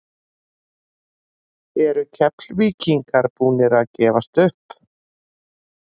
Eru Keflvíkingar búnir að gefast upp?